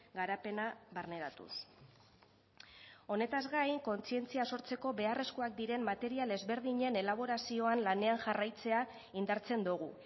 garapena barneratuz honetaz gain kontzientzia sortzeko beharrezkoak diren material ezberdinen elaborazioan lanean jarraitzea indartzen dugu